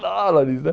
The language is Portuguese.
dólares, né?